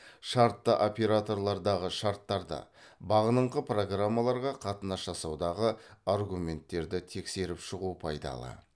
шартты операторлардағы шарттарды бағыныңқы программаларға қатынас жасаудағы аргументтерді тексеріп шығу пайдалы